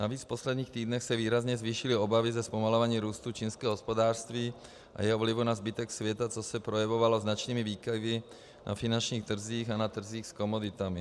Navíc v posledních týdnech se výrazně zvýšily obavy ze zpomalování růstu čínského hospodářství a jeho vlivu na zbytek světa, což se projevovalo značnými výkyvy na finančních trzích a na trzích s komoditami.